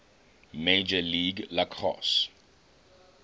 major league lacrosse